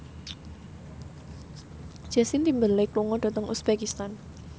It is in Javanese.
Justin Timberlake lunga dhateng uzbekistan